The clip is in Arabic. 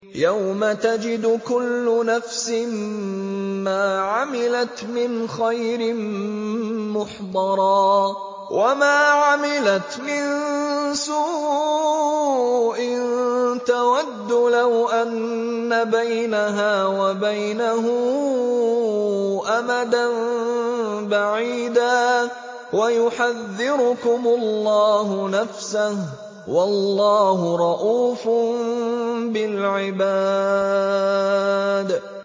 يَوْمَ تَجِدُ كُلُّ نَفْسٍ مَّا عَمِلَتْ مِنْ خَيْرٍ مُّحْضَرًا وَمَا عَمِلَتْ مِن سُوءٍ تَوَدُّ لَوْ أَنَّ بَيْنَهَا وَبَيْنَهُ أَمَدًا بَعِيدًا ۗ وَيُحَذِّرُكُمُ اللَّهُ نَفْسَهُ ۗ وَاللَّهُ رَءُوفٌ بِالْعِبَادِ